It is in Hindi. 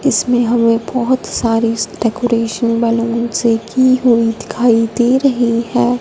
इसमें हमें बहुत सारी डेकोरेशन बैलून से की हुई दिखाई दे रही है।